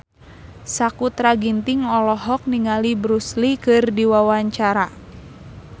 Sakutra Ginting olohok ningali Bruce Lee keur diwawancara